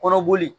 Kɔrɔ boli